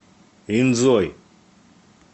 инзой